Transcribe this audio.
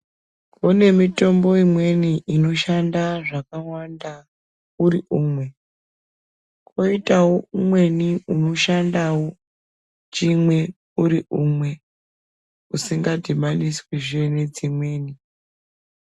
Kune mitombo imweni inoshanda zvakawanda uri umwe kwoitewo umweni unoshandawo chimwe uri umwe usingadhibaniswi zvee nedzimweni .